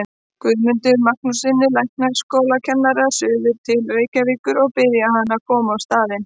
Guðmundi Magnússyni læknaskólakennara suður til Reykjavíkur og biðja hann að koma á staðinn.